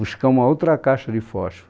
Buscar uma outra caixa de fósforo.